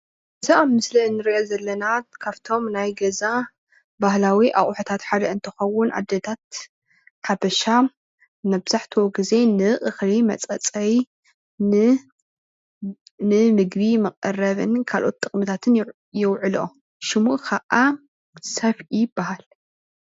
እዚ ኣብ ምስሊ እንሪኦ ዘለና ካብቶም ናይ ገዛ ባህላዊ ኣቑሑታት ሓደ እንትኸውን ኣዴታት ብሓፈሻ መብዛሕትኡ ግዜ ንእኽሊ መፀፀይን ንምግቢ መቐረቢን ካልኦት ጥቕምታትን የውዕሎኦ፡፡ ሽሙ ከዓ ሰፍኢ ይበሃል።